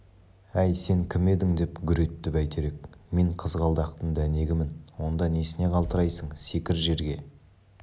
әй сен кім едің деп гүр етті бәйтерек мен қызғалдақтың дәнегімін онда несіне қалтырайсың секір жерге